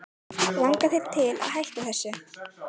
Langar þig til þess að hætta þessu?